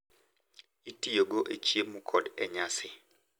itiyogo e chiemo kod e nyasi.